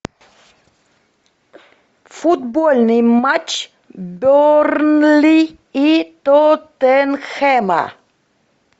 футбольный матч бернли и тоттенхэма